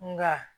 Nka